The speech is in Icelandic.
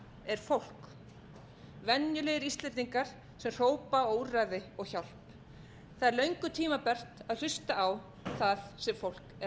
er fólk venjulegir íslendingar sem hrópa á úrræði og hjálp það er löngu tímabært að hlusta á það sem fólk er